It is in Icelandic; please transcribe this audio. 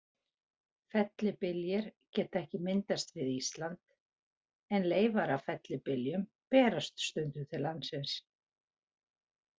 Fellibyljir geta ekki myndast við Ísland, en leifar af fellibyljum berast stundum til landsins.